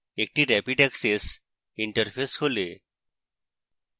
একটি rapid access interface খোলে